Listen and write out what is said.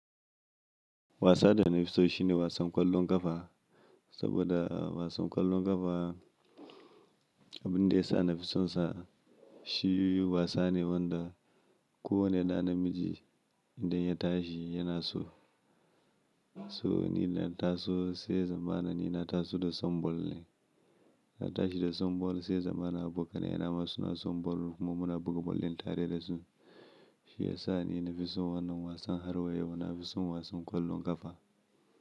Wasa da na fi so shine wasan ƙwallon ƙafa, saboda wasan ƙwallon ƙafa abin da yasa nafi son sa shi wasa ne wanda kowane da na miji idan ya tashi yana so. So ni na taso sai ya zamana ni na taso da son ball ne. Na tashi da son ball sai ya zamana abokanai na ma suna son ball kuma muna buga ball din tare da su. Shi ya sa ni na fi son wannan wasan har wa yau na fi son wasan ƙwallon ƙafa.